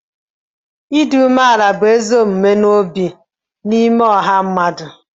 ịdị umeala n'obi bụ ezi omume n'ime ọha mmadụ